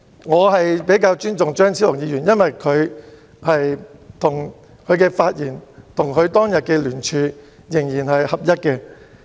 我比較尊重張超雄議員，因為他的發言跟他當天的聯署仍然一致。